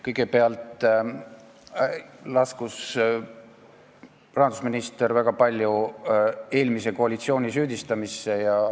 Kõigepealt laskus rahandusminister väga palju eelmise koalitsiooni süüdistamisse.